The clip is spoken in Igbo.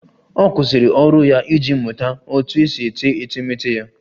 Ọ kwụsịrị ọrụ ya iji mụta otú e si ete etemeete ya